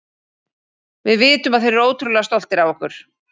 Við vitum að þeir eru ótrúlega stoltir af okkur.